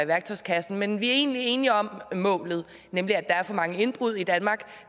værktøjskassen men vi er egentlig enige om målet nemlig at der er for mange indbrud i danmark og